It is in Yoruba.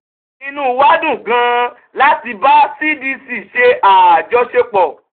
inú wa dùn gan-an láti bá cdc ṣe àjọṣepọ̀.